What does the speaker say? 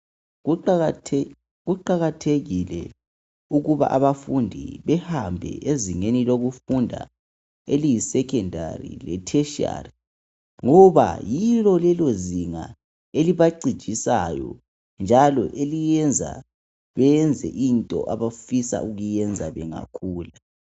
Kuqakathekile ukuba abafundi behambe ezinengi lokufunda eliyisekhendari letheshiyari ngoba yilo lelozinga elibacijisayo njalo eliyenza benze into abafun' ukuyenza bengakhula.